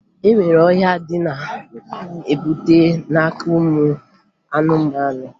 E nwere ọrịa ndị a na-ebute n'aka ụmụ anụmanụ